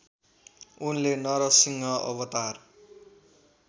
उनले नरसिंह अवतार